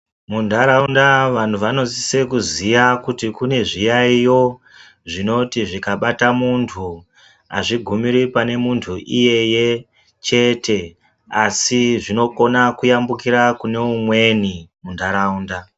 Mundaraunda vantu vanosisa kuziya kuti kune zviyaiyo zvinoti zvikabata muntu azvigumiri pane muntu iyeye chete asi zvinokona kuyambukira kune umweni mundaraunda.